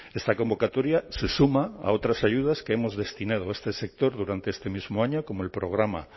esta convocatoria se suma a otras ayudas que hemos destinado a este sector durante este mismo año como el programa